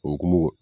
O hukumu kɔnɔ